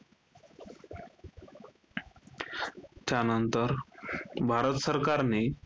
त्यानंतर भारत सरकारने,